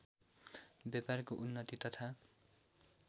व्यापारको उन्नति तथा